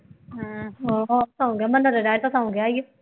ਅਮ ਹੋਰ ਸੌ ਗਿਆ, ਮੈਨੂੰ ਲੱਗਾ ਕਿ ਸੌਂ ਗਿਆ ਹੈ